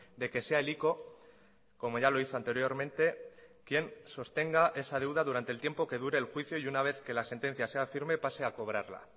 de que sea el ico como ya lo hizo anteriormente quien sostenga esa deuda durante el tiempo que dure el juicio y una vez que la sentencia sea firme pase a cobrarla